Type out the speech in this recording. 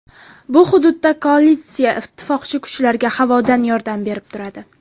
Bu hududda koalitsiya ittifoqchi kuchlarga havodan yordam berib turadi.